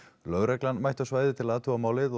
lögreglan mætti á svæðið til að athuga málið